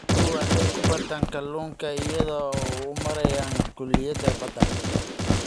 Dadku waxay wax ku bartaan kalluunka iyaga oo u maraya kulliyadaha badda.